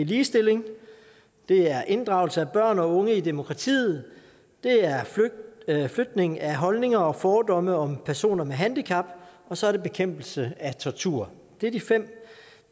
ligestilling det er inddragelse af børn og unge i demokratiet det er flytning af holdninger og fordomme om personer med handicap og så er det bekæmpelse af tortur det er de fem